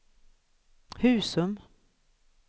Husum